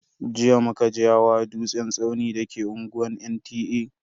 Jiya muka je hawa dutsen tsauni da ke unguwar NTA.